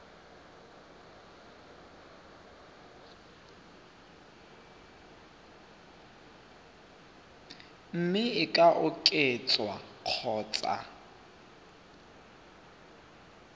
mme e ka oketswa kgotsa